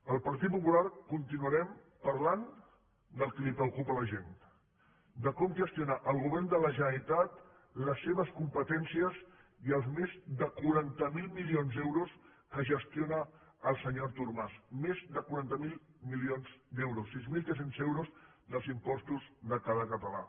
el partit popular continuarem parlant del que preocupa a la gent de com gestionar el govern de la generalitat les seves competències i els més de quaranta miler milions d’euros que gestiona el senyor artur mas més de quaranta miler milions d’euros sis mil tres cents euros dels impostos de cada català